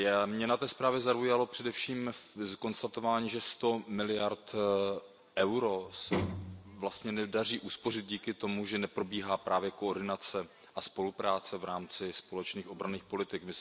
Mě na té zprávě zaujalo především konstatování, že 100 miliard EUR se vlastně nedaří uspořit díky tomu, že neprobíhá právě koordinace a spolupráce v rámci společných obranných politik.